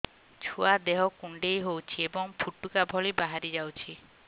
ଛୁଆ ଦେହ କୁଣ୍ଡେଇ ହଉଛି ଏବଂ ଫୁଟୁକା ଭଳି ବାହାରିଯାଉଛି